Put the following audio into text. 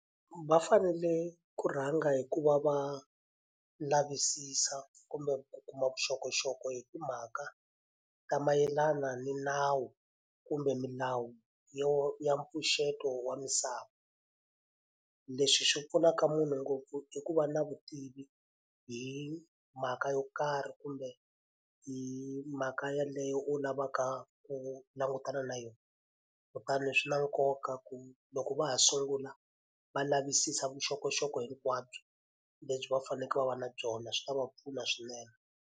Va fanele ku rhanga hi ku va va lavisisa kumbe ku kuma vuxokoxoko hi timhaka ta mayelana ni nawu kumbe milawu yo ya mpfuxeto wa misava. Leswi swi pfunaka munhu ngopfu i ku va na vutivi hi mhaka yo karhi kumbe hi mhaka yeleyo u lavaka ku langutana na yona. Kutani swi na nkoka ku loko va ha sungula va lavisisa vuxokoxoko hinkwabyo lebyi va fanekele va va na byona, swi ta va pfuna swinene.